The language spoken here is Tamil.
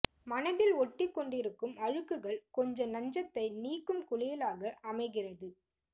மனதில் ஒட்டிக் கொண்டிருக்கும் அழுக்குகள் கொஞ்ச நஞ்சத்தை நீக்கும் குளியலாக அமைகிறது